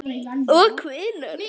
Og hvenær?